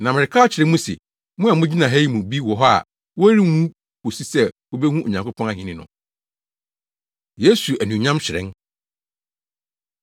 “Na mereka akyerɛ mo se, mo a mugyina ha yi mu bi wɔ hɔ a wɔrenwu kosi sɛ wobehu Onyankopɔn ahenni no.” Yesu Anuonyam Hyerɛn